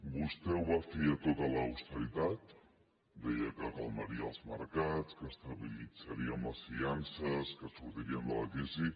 vostè ho va fiar tot a l’austeritat deia que calmaria els mercats que estabilitzaríem les finances que sortiríem de la crisi